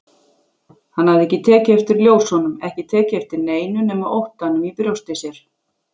Hann hafði ekki tekið eftir ljósunum, ekki tekið eftir neinu nema óttanum í brjósti sér.